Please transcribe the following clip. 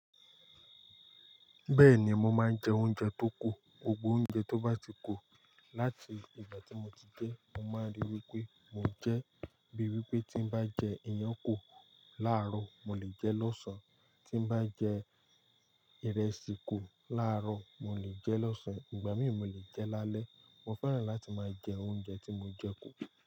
Bẹ́ẹ̀ni, mo máa ń jẹ oúnjẹ tó kù. Gbogbo oúnjẹ tó bá ti kù láti ìgbà tí mo ti dé, mo máa ríi wípé mo jẹ́. Bíi wípé tí ń bá jẹ iyán kò láàárọ̀, mo lè jẹ lọ́sàn-án, tí ń bá jẹ ìrẹsì kò láàárọ̀, mo lè jẹ lọ́sàn-án ìgbà mìíràn mo lè jẹ láálẹ́. Mo fẹ́ràn láti máa jẹ oúnjẹ tí mo jẹ kù.